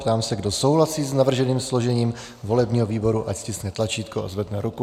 Ptám se, kdo souhlasí s navrženým složením volebního výboru, ať stiskne tlačítko a zvedne ruku.